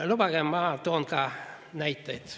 Lubage, ma toon ka näiteid.